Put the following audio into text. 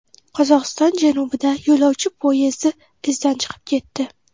Qozog‘iston janubida yo‘lovchi poyezdi izdan chiqib ketdi.